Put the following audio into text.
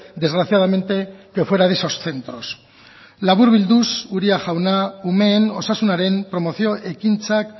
desgraciadamente que fuera de esos centros laburbilduz uria jauna umeen osasunaren promozio ekintzak